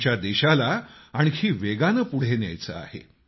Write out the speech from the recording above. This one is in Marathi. आमच्या देशाला आणखी वेगानं पुढं न्यायचं आहे